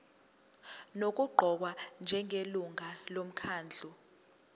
nokuqokwa njengelungu lomkhandlu